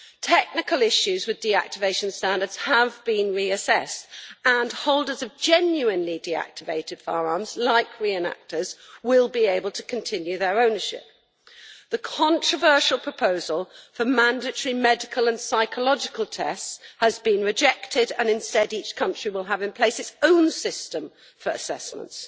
Technical issues with deactivation standards have been reassessed and holders of genuinely deactivated firearms, such as re enactors, will be able to continue their ownership. The controversial proposal for mandatory medical and psychological tests has been rejected and, instead, each country will have in place its own system for assessments.